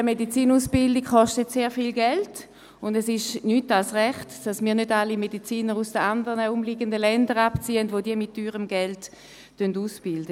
Eine Medizinausbildung kostet sehr viel Geld, und es ist nichts als recht, dass wir nicht alle Mediziner aus den umliegenden Ländern abziehen, welche diese mit teurem Geld ausbilden.